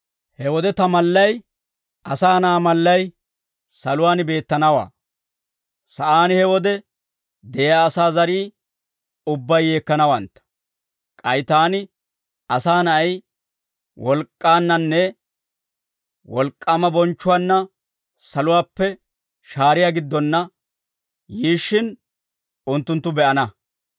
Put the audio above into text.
He wode ta mallay, Asaa Na'aa mallay, saluwaan beettanawaa; sa'aan he wode de'iyaa asaa zarii ubbay yeekkanawantta. K'ay taani, Asaa Na'ay, wolk'k'aannanne wolk'k'aama bonchchuwaanna saluwaappe shaariyaa giddonna yiishshin, unttunttu be'ana.